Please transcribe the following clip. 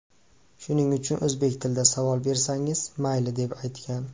Shuning uchun o‘zbek tilida savol bersangiz, mayli”, deb aytgan.